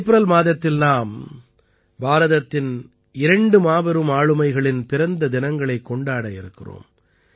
April மாதத்தில் நாம் பாரதத்தின் இரண்டு மாபெரும் ஆளுமைகளின் பிறந்த தினங்களைக் கொண்டாட இருக்கிறோம்